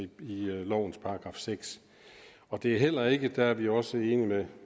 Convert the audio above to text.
lovens § sjette og det er heller ikke der er vi også enige